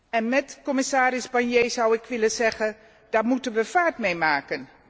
En met commissaris Barnier zou ik willen zeggen daar moeten wij vaart mee maken!